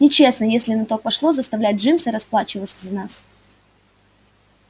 нечестно если на то пошло заставлять джимса расплачиваться за нас